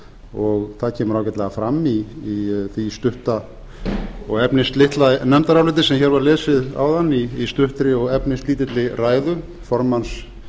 og það kemur ágætlega fram í því stutta og efnislitla nefndaráliti sem var hér lesið áðan í stuttri og efnislítilli ræðu formanns